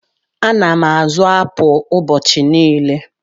Ana m azụ apụl ụbọchị niile.